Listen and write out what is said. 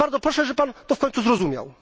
Bardzo proszę, żeby Pan to w końcu zrozumiał!